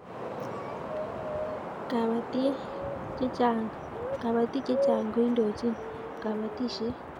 kabatiek chechang ko indojin kabatishiet